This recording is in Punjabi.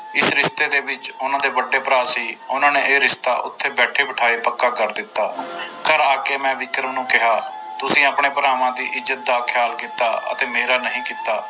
ਇਸ ਰਿਸ਼ਤੇ ਦੇ ਵਿੱਚ ਉਹਨਾਂ ਦੇ ਵੱਡੇ ਭਰਾ ਸੀ ਉਹਨਾਂ ਨੇ ਇਹ ਰਿਸ਼ਤਾ ਉੱਥੇ ਬੈਠੇ ਬਿਠਾਏ ਪੱਕਾ ਕਰ ਦਿੱਤਾ ਘਰ ਆ ਕੇ ਮੈਂ ਵਿਕਰਮ ਨੂੰ ਕਿਹਾ ਤੁਸੀਂ ਆਪਣੀ ਭਰਾਵਾਂ ਦੀ ਇਜਤ ਦਾ ਖਿਆਲ ਕੀਤਾ ਅਤੇ ਮੇਰਾ ਨਹੀਂ ਕੀਤਾ।